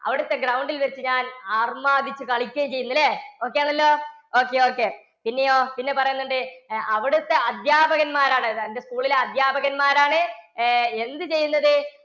അവിടുത്തെ ground ൽ വച്ച് ഞാൻ അർമാദിച്ച് കളിക്കുകയും ചെയ്യുന്നു ല്ലേ? okay ആണല്ലോ okay, okay പിന്നെയോ പിന്നെ പറയുന്നുണ്ട് ഏർ അവിടുത്തെ അധ്യാപകൻമാരാണ് എന്റെ സ്കൂളിലെ അധ്യാപകൻമാരാണ് ഏർ എന്ത് ചെയ്യുന്നത്?